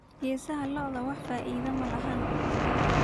Geesaha lo'odha wax faida eh malaxan.